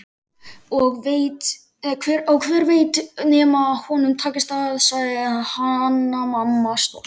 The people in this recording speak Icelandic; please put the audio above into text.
Og hver veit nema honum takist það, sagði Hanna-Mamma stolt.